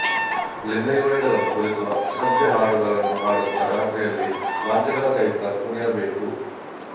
ಲಿಂಗಯೋನಿಗಳನ್ನು ಕುರಿತು ಅಸಭ್ಯ ಹಾಡುಗಳನ್ನು ಹಾಡುತ್ತಾ ರಾತ್ರಿಯಲ್ಲಿ ವಾದ್ಯಗಳ ಸಹಿತ ಕುಣಿಯಬೇಕು